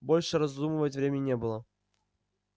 больше раздумывать времени не было